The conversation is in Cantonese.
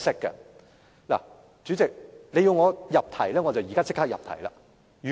代理主席，你要求我入題，我現在便立刻入題。